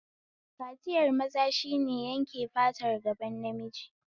Kaciyar maza shine yanke fatar gaban namiji